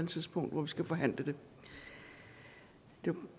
tidspunkt hvor vi skal forhandle det der